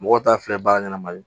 Mɔgɔw t'a fɛ baara ɲanama ye